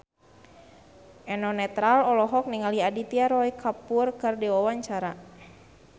Eno Netral olohok ningali Aditya Roy Kapoor keur diwawancara